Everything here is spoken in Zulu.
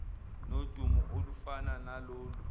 nodumo olufana nalolu